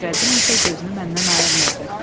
Nəsrəddin isə gözünü məndən ayırmırdı.